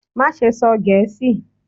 Maṣe sọ Gẹẹsi!